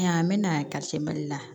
Yan bɛ na ka se mali la